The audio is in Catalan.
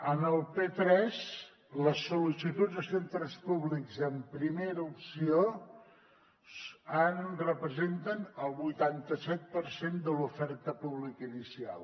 a p3 les sollicituds de centres públics en primera opció representen el vuitanta set per cent de l’oferta pública inicial